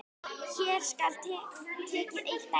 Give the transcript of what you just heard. Hér skal tekið eitt dæmi.